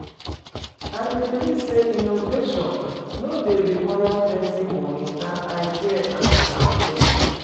I dey believe say innovation no dey require plenty monie, na ideas and determination.